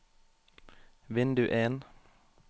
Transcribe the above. vindu en